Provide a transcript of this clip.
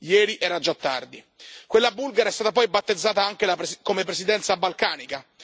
Ieri era già tardi. Quella bulgara è stata poi battezzata anche come Presidenza balcanica.